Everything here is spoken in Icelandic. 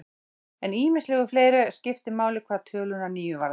En ýmislegt fleira skiptir máli hvað töluna níu varðar.